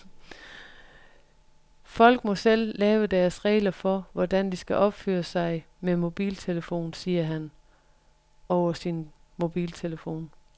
Folk må selv lave deres regler for, hvordan de skal opføre sig med mobiltelefon, siger han, over sin mobiltelefon.